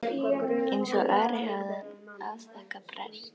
Eins og Ari hafði hann afþakkað prest.